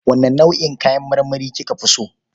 Wane nau'in kayan marmari ka fi so?